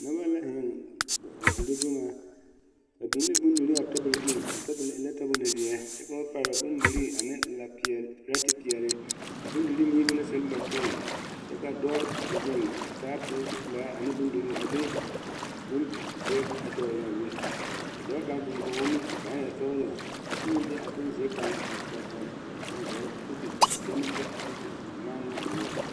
Noba la zeŋ a dire boma ba biŋ la bondire a tabol zu a tabol e la bonziɛ ka ba pare bondire ane la peɛle pirɛti peɛle bondire mine be sileba poɔ kyɛ ka dɔɔ zeŋ a taa pirɛti pelaa ane bondire a de bonziɛ a kyoŋ eŋ a be ka dɔɔ kaŋ meŋ zeŋ kɔŋ o a su kaaya sɔglɔ kyɛ meŋ de a bonziɛ kaŋ a kyoŋ eŋ a gaare ka o te do ne te manne o noɔre.